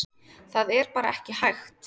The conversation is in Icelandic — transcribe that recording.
Það er bara ekki hægt